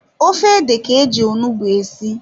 Ofe ede ka-eji onugbu esi.